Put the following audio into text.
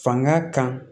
Fanga kan